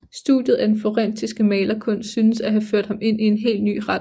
Studiet af den florentinske malerkunst synes at have ført ham ind i hel ny retning